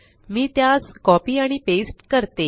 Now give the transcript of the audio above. मी त्यास कॉपी आणि पेस्ट करते